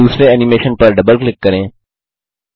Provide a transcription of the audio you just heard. सूची में दूसरे एनिमेशन पर डबल क्लिक करें